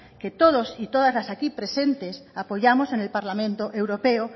que todos y todas las aquí presentes apoyamos en el parlamento europeo